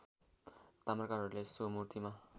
ताम्राकारहरूले सो मूर्तिमा